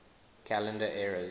calendar eras